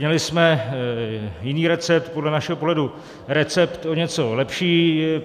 Měli jsme jiný recept, podle našeho pohledu recept o něco lepší.